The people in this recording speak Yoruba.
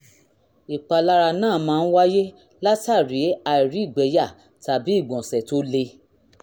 ìpalára náà máa ń wáyé látàri àìrígbẹ̀ẹ́yà tàbí ìgbọ̀nsẹ̀ tó le